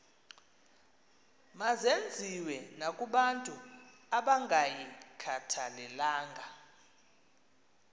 mazenziwe nakobantu abangayikhathalelanga